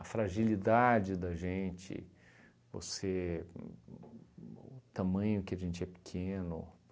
a fragilidade da gente, você, o o o tamanho que a gente é pequeno.